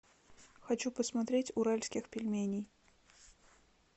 хочу посмотреть уральских пельменей